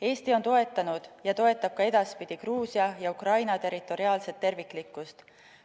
Eesti on toetanud ja toetab ka edaspidi Gruusia ja Ukraina territoriaalset terviklikkust.